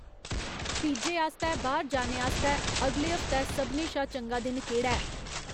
पिज़्ज़े आस्तै बाह्र जाने आस्तै अगले हफ्तै सभनें शा चंगा दिन केह्ड़ा ऐ ?